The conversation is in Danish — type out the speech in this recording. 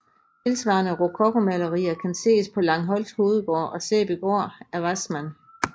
Tilsvarende rokokomalerier kan ses på Langholt Hovedgård og Sæbygård af Wassmann